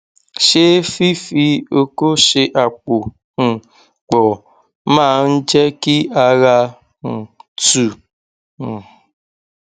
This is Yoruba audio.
ṣé fífi oko ṣe àpò um pọ máa ń jẹ kí ara um tu um